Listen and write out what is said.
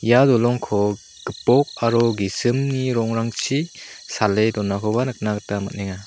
ia dolongko gipok aro gisimni rongrangchi sale donakoba nikna gita man·enga.